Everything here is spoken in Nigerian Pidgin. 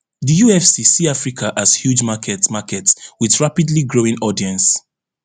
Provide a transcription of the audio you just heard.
di ufc see africa as huge market market wit rapidly growing audience